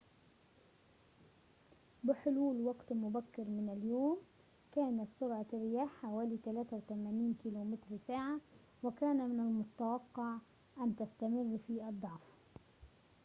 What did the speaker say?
بحلول وقت مبكر من اليوم، كانت سرعة الرياح حوالي 83 كم/ساعة، وكان من المتوقع أن تستمر في الضعف